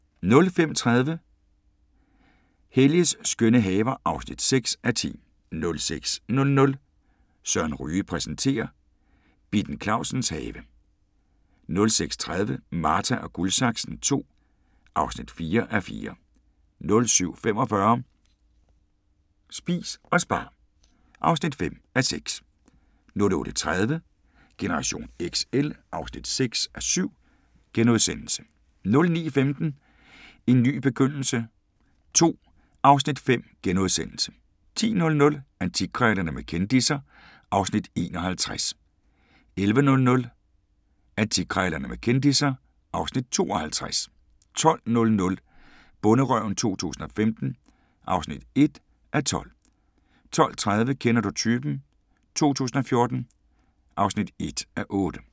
05:30: Helges skønne haver (6:10) 06:00: Søren Ryge præsenterer: Bitten Clausens have 06:30: Marta & Guldsaksen II (4:4) 07:45: Spis og spar (5:6) 08:30: Generation XL (6:7)* 09:15: En ny begyndelse II (Afs. 5)* 10:00: Antikkrejlerne med kendisser (Afs. 51) 11:00: Antikkrejlerne med kendisser (Afs. 52) 12:00: Bonderøven 2015 (1:12) 12:30: Kender du typen 2014 (1:8)